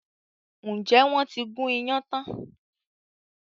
Ǹjẹ́ wọn ti gun iyán tán?